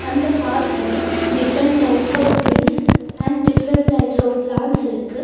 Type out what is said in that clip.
அந்த பார்க் ல different types of trees and different types of plants இருக்கு.